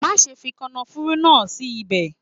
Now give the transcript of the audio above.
Má ṣe fi kànáfùrú náà sí ibẹ̀.